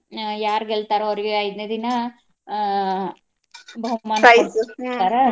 ಆ ಯಾರ್ ಗೆಲ್ತಾರೋ ಅವ್ರಗೆ ಐದ್ನೇ ದಿನಾ ಆ .